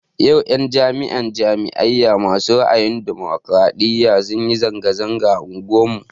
Yau 'yan jam'iyar jama'a ma su ra'ayin ɗumukraɗiya sunyi zanga-zanga a unguwar mu